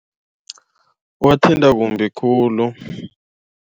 Kuwathinta kumbi khulu.